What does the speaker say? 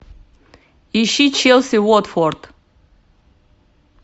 ищи челси уотфорд